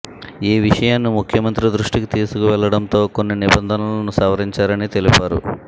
ఈ విషయాన్ని ముఖ్యమంత్రి దృష్టికి తీసుకువెళ్లడంతో కొన్ని నిబంధనలను సవరించారని తెలిపారు